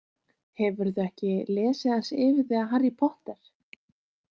Hefurðu ekki lesið aðeins yfir þig af Harry Potter?